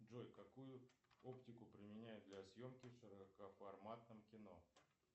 джой какую оптику применяют для съемки в широкоформатном кино